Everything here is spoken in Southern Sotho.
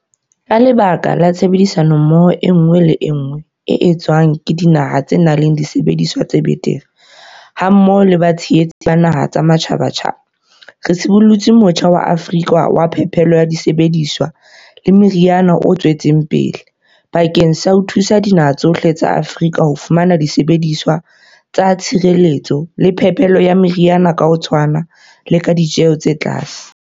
Ka lebaka la tshebedisano mmoho enngwe le enngwe e etswang le dinaha tse nang le disebediswa tse betere mmoho le batshehetsi ba dinaha tsa matjhabatjhaba, re sibollotse Motjha wa Afrika wa Phepelo ya Disebediswa le Meriana o tswetseng pele, bakeng sa ho thusa dinaha tsohle tsa Afrika ho fumana disebediswa tsa tshireletso le phepelo ya meriana ka ho tshwana le ka ditjeho tse tlase.